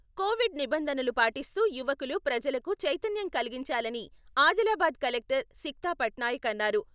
Covid నిబంధనలు పాటిస్తూ యువకులు ప్రజలకు చైతన్యం కలిగించాలని ఆదిలాబాద్ కలెక్టర్ సిక్తా పట్నాయక్ అన్నారు.